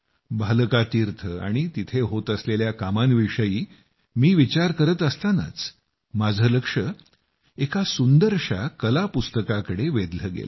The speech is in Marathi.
भालका तीर्थ आणि तिथं होत असलेल्या कामांविषयी मी विचार करत असतानाच माझं लक्ष एका सुंदरशा कलापुस्तकाकडे वेधलं गेलं